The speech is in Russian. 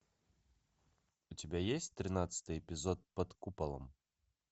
у тебя есть тринадцатый эпизод под куполом